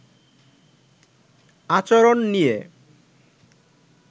আচরণ নিয়ে